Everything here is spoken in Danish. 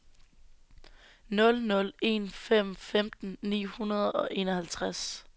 nul nul en fem femten ni hundrede og enoghalvtreds